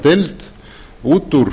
deild út úr